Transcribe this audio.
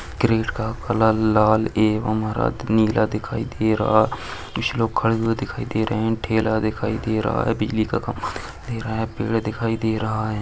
Crane का colour लाल एवं हरा नीला दिखाई दे रहा है। कुछ लोग खड़े हुए दिखाई दे रहे हैं। ठेला दिखाई दे रहा है। बिजली का खंबा दिखाई दे रहा है। पेड़ दिखाई दे रहा है।